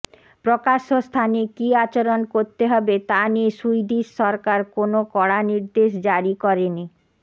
প্রকাশ্য় স্থানে কী আচরণ করতে হবে তা নিয়ে সুইডিশ সরকার কোন কড়া নির্দেশ জারি করেনি